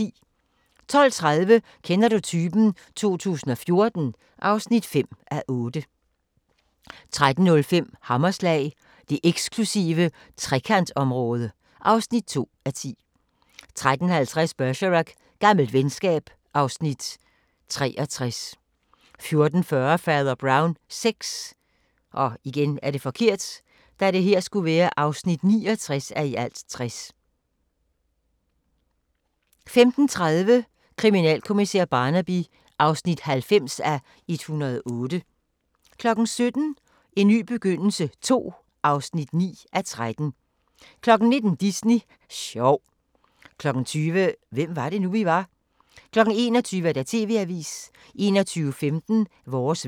12:30: Kender du typen? 2014 (5:8) 13:05: Hammerslag – det eksklusive Trekantområde (2:10) 13:50: Bergerac: Gammelt venskab (Afs. 63) 14:40: Fader Brown VI (69:60) 15:30: Kriminalkommissær Barnaby (90:108) 17:00: En ny begyndelse II (9:13) 19:00: Disney sjov 20:00: Hvem var det nu, vi var? 21:00: TV-avisen 21:15: Vores vejr